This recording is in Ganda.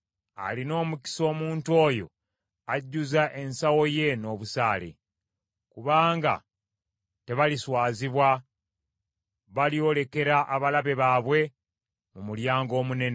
Alina omukisa omuntu oyo ajjuzza ensawo ye n’obusaale, kubanga tebaliswazibwa; balyolekera abalabe baabwe mu mulyango omunene.